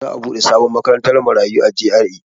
Za'a buɗe sabon makarantar marayu a G.R.A.